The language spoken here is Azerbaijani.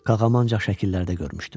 Qağamı ancaq şəkillərdə görmüşdüm.